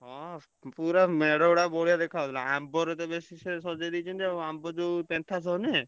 ହଁ ପୁରା ମେଢଗୁଡାକ ବଢିଆ ଦେଖାଯାଉଥିଲା। ଆମ୍ବରେ ତ ବେଶୀ ସେ ସଜେଇ ଦେଇଛନ୍ତି ଆଉ ଆମ୍ବ ଯୋଉ ପେନ୍ଥା ସବୁ ନୁହେଁ।